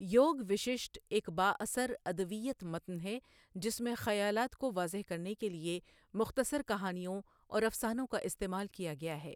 یوگ وسِشٹھہ ایک بااثر ادویت متن ہے جس میں خیالات کو واضح کرنے کے لیے مختصر کہانیوں اور افسانوں کا استعمال کیا گیا ہے۔